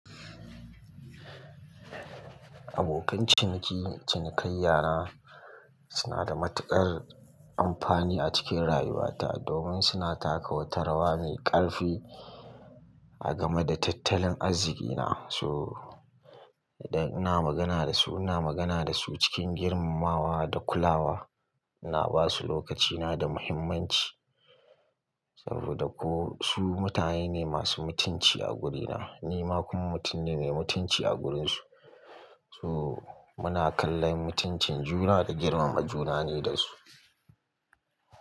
Abokan ciniki, cinikayya na suna da matuƙar amfani a cikin rayuwata domin suna taka wata rawa mai ƙarfi a game da tattalin arzikina. So idan ina magana da su, ina magana da su cikin girmamawa da kulawa. Ina ba su lokacina da muhimmanci saboda ko su mutane masu mutunci a gurina, ni ma kuma mutum ne mai mutunci a gurinsu. So muna kallon mutuncin juna da girmama juna ne da su.